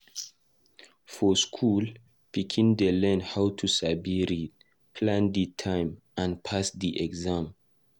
For school, pikin dey learn how to sabi read, plan e time, and pass e exam.